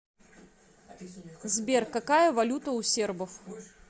сбер какая валюта у сербов